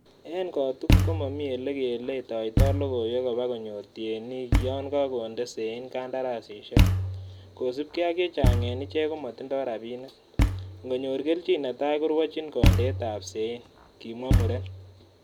En kotugul komomi ele keletoito logoiywek koba konyor tienik yon kakonde sein kandarasisiek, kosiibge ak chechang en ichek komotindo rabinik, ingonyor kelchin neta korwochin kondeet ab sein, kimwa muren.